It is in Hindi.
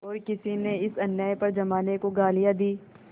और किसी ने इस अन्याय पर जमाने को गालियाँ दीं